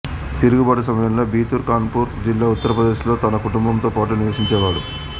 తిరుగుబాటు సమయంలో బితూర్ కాన్పూర్ జిల్లా ఉత్తరప్రదేశ్ లో తన కుటుంబంతో పాటు నివసించేవాడు